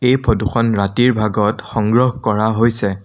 এই ফটো খন ৰাতিৰ ভাগত সংগ্ৰহ কৰা হৈছে।